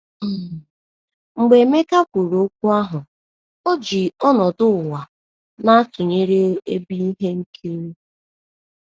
um Mgbe Emeka kwuru okwu ahụ, o ji ọnọdụ ụwa na - atụnyere ebe ihe nkiri.